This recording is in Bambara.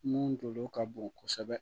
Mun jo ka bon kosɛbɛ